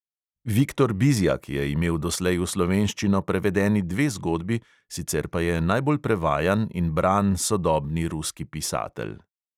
Viktor bizjak je imel doslej v slovenščino prevedeni dve zgodbi, sicer pa je najbolj prevajan in bran sodobni ruski pisatelj.